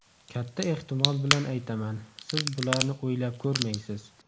Katta ehtimol bilan aytaman, siz bularni o‘ylab ko‘rmaysiz.